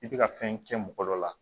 I bɛ ka fɛn kɛ mɔgɔ dɔ la